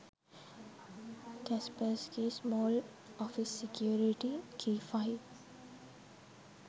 kaspersky small officecsecurity key file